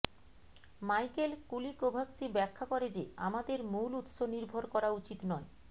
Michael Kulikowski ব্যাখ্যা করে যে আমাদের মূল উৎস নির্ভর করা উচিত নয়